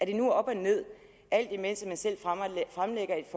det nu er op og ned alt imens man selv fremlægger et